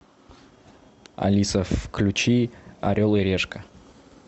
алиса включи орел и решка